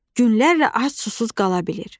Günlərlə ac susuz qala bilir.